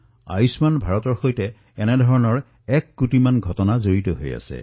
আয়ুষ্মান ভাৰতৰ সৈতে এনেকুৱা এক কোটিতকৈও অধিক কাহিনী জড়িত হৈ আছে